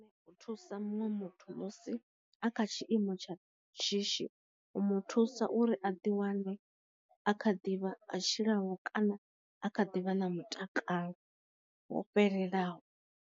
U thusa muṅwe muthu musi a kha tshiimo tsha shishi u mu thusa uri a ḓi wane a kha ḓivha a tshilaho kana a kha ḓivha na mutakalo wo fhelelaho.